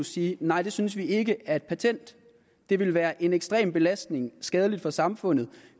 sige nej det synes vi ikke er et patent det vil være en ekstrem belastning skadeligt for samfundet